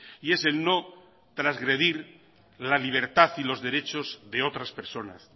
y es el no transgredir la libertad y los derechos de otras personas